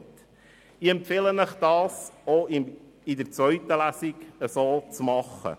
Ich empfehle Ihnen, dies auch in der zweiten Lesung zu tun.